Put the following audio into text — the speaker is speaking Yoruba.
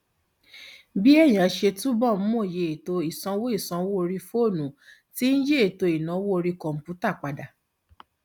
bí èèyàn ṣe túbọ ń mọyì ètò ìsanwó ìsanwó orí fóònù ti ń yí ètò ìnáwó orí kọǹpútà padà